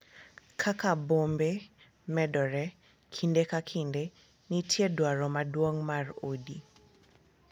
Kaka bombe medore, kinde ka kinde nitie dwaro maduong’ mar udi